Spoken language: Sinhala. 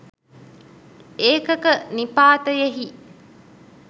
ඒකක නිපාතයෙහි